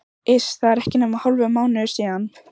Iss, það er ekki nema hálfur mánuður síðan.